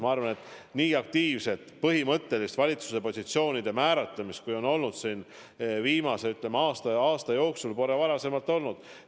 Ma arvan, et nii aktiivset põhimõttelist valitsuse positsioonide määratlemist, kui on olnud viimase, ütleme, aasta jooksul, pole varem olnud.